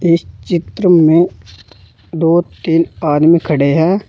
इस चित्र में दो तीन आदमी खड़े हैं।